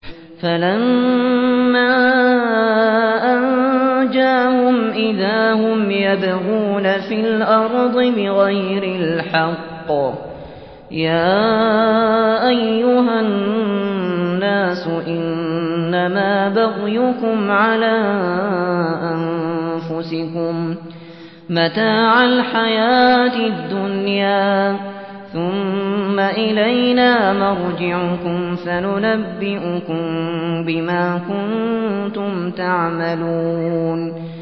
فَلَمَّا أَنجَاهُمْ إِذَا هُمْ يَبْغُونَ فِي الْأَرْضِ بِغَيْرِ الْحَقِّ ۗ يَا أَيُّهَا النَّاسُ إِنَّمَا بَغْيُكُمْ عَلَىٰ أَنفُسِكُم ۖ مَّتَاعَ الْحَيَاةِ الدُّنْيَا ۖ ثُمَّ إِلَيْنَا مَرْجِعُكُمْ فَنُنَبِّئُكُم بِمَا كُنتُمْ تَعْمَلُونَ